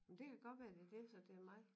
Men det kan godt være at det er dét så at det er mig